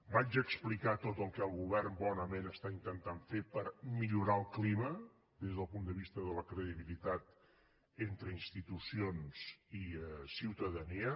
vaig explicar tot el que el govern bonament està intentant fer per millorar el clima des del punt de vista de la credibilitat entre institucions i ciutadania